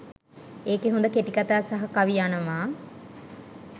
ඒකේ හොඳ කෙටිකතා සහ කවි යනවා